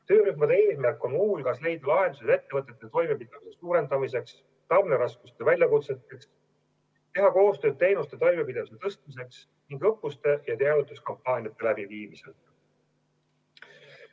Töörühmade eesmärk on muu hulgas leida lahendusi ettevõtete toimepidevuse suurendamiseks ja tarneraskuste väljakutsetega toimetulekuks, teha koostööd teenuste toimepidevuse tõstmiseks ning õppuste ja teavituskampaaniate läbiviimiseks.